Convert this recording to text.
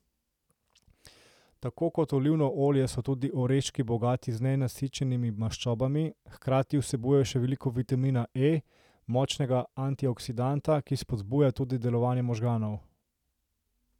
Tako kot olivno olje so tudi oreščki bogati z nenasičenimi maščobami, hkrati vsebujejo še veliko vitamina E, močnega antioksidanta, ki spodbuja tudi delovanje možganov.